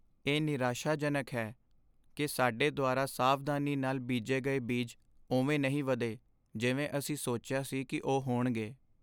ਇਹ ਨਿਰਾਸ਼ਾਜਨਕ ਹੈ ਕਿ ਸਾਡੇ ਦੁਆਰਾ ਸਾਵਧਾਨੀ ਨਾਲ ਬੀਜੇ ਗਏ ਬੀਜ ਉਵੇਂ ਨਹੀਂ ਵਧੇ ਜਿਵੇਂ ਅਸੀਂ ਸੋਚਿਆ ਸੀ ਕਿ ਉਹ ਹੋਣਗੇ।